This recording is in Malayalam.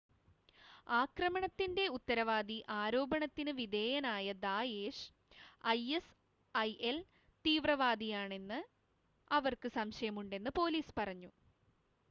ആക്രമണത്തിന്റെ ഉത്തരവാദി ആരോപണത്തിന് വിധേയനായ ദായേഷ്‌ ഐഎസ്ഐഎൽ തീവ്രവാദിയാണെന്ന് അവർക്ക് സംശയം ഉണ്ടെന്ന് പോലീസ് പറഞ്ഞു